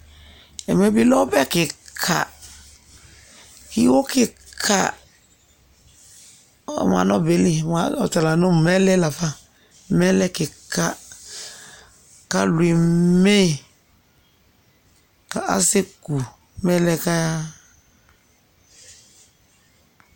Ɛmɛ bɩ lɛ ɔbɛ kɩka, iwo kɩka, ɔma nʋ ɔbɛ yɛ li Ɔta la nʋ mɛlɛ la fa Mɛlɛ kɩka kʋ alʋ eme yɩ kʋ asɛku mɛlɛ yɛ kʋ ayaɣa